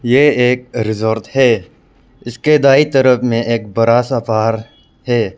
ये एक रिज़ॉर्ट है इसके दायीं तरफ में एक बड़ा सा पहाड़ है।